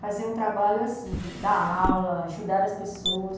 Fazer um trabalho assim, de dar aula, ajudar as pessoas.